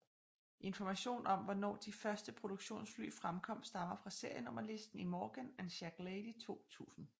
Information om hvornår de første produktionsfly fremkom stammer fra serienummer listen i Morgan and Shacklady 2000